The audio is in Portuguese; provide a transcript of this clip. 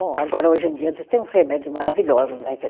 Bom, agora hoje em dia diz tem uns remédios maravilhosos, né?